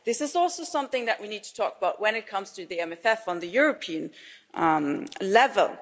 This is also something that we need to talk about, when it comes to the MFF at European level.